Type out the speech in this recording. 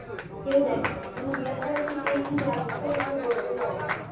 কেউ দেখেনি আমি জিজ্ঞাসা করছি কে কি award পেল কেউ বলতেই পারছে না